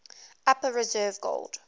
upper reserve gold